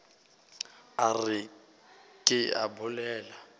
a re ke a bolela